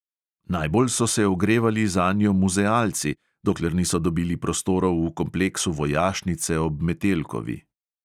Najbolj so se ogrevali zanjo muzealci, dokler niso dobili prostorov v kompleksu vojašnice ob metelkovi.